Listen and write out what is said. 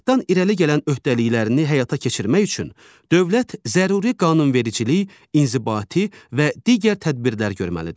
Paktından irəli gələn öhdəliklərini həyata keçirmək üçün dövlət zəruri qanunvericiliyi, inzibati və digər tədbirlər görməlidir.